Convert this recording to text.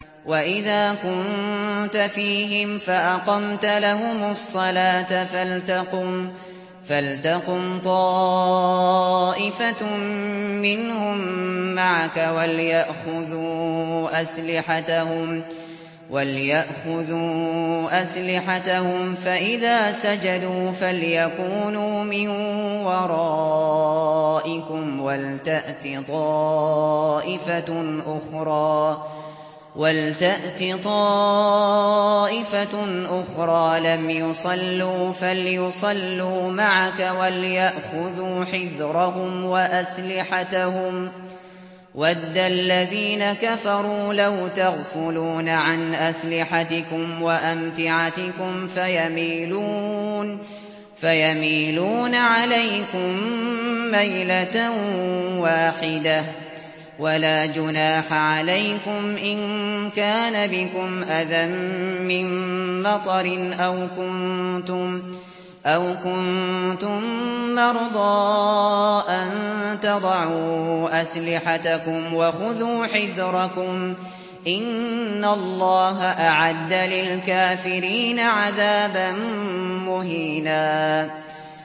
وَإِذَا كُنتَ فِيهِمْ فَأَقَمْتَ لَهُمُ الصَّلَاةَ فَلْتَقُمْ طَائِفَةٌ مِّنْهُم مَّعَكَ وَلْيَأْخُذُوا أَسْلِحَتَهُمْ فَإِذَا سَجَدُوا فَلْيَكُونُوا مِن وَرَائِكُمْ وَلْتَأْتِ طَائِفَةٌ أُخْرَىٰ لَمْ يُصَلُّوا فَلْيُصَلُّوا مَعَكَ وَلْيَأْخُذُوا حِذْرَهُمْ وَأَسْلِحَتَهُمْ ۗ وَدَّ الَّذِينَ كَفَرُوا لَوْ تَغْفُلُونَ عَنْ أَسْلِحَتِكُمْ وَأَمْتِعَتِكُمْ فَيَمِيلُونَ عَلَيْكُم مَّيْلَةً وَاحِدَةً ۚ وَلَا جُنَاحَ عَلَيْكُمْ إِن كَانَ بِكُمْ أَذًى مِّن مَّطَرٍ أَوْ كُنتُم مَّرْضَىٰ أَن تَضَعُوا أَسْلِحَتَكُمْ ۖ وَخُذُوا حِذْرَكُمْ ۗ إِنَّ اللَّهَ أَعَدَّ لِلْكَافِرِينَ عَذَابًا مُّهِينًا